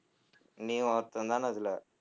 நீயும் ஒருத்தன் தானே அதுல